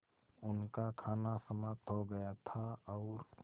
उनका खाना समाप्त हो गया था और